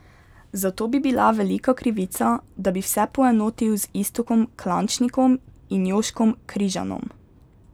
Zato bi bila velika krivica, da bi vse poenotil z Iztokom Klančnikom in Jožkom Križanom.